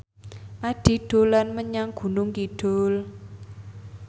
Addie dolan menyang Gunung Kidul